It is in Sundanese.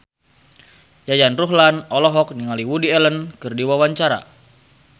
Yayan Ruhlan olohok ningali Woody Allen keur diwawancara